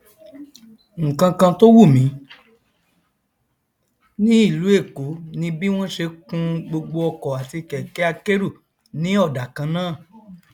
nkankan tó wùmí ní ìlú èkó ni bí wọn ṣe kun gbogbo ọkọ àti kẹkẹ akérò ní ọdà kannáà